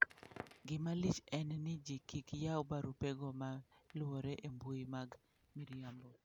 Gima lich en ni ji kik yaw barupego ma luorore e mbuyi mag miriambo